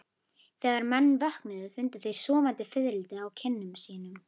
Þegar menn vöknuðu fundu þeir sofandi fiðrildi á kinnum sínum.